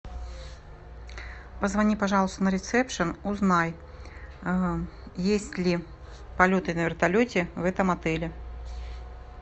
позвони пожалуйста на ресепшн узнай есть ли полеты на вертолете в этом отеле